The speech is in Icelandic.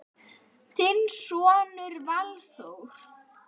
Þinn sonur Valþór.